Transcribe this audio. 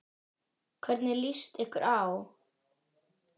Hvernig líst ykkur á?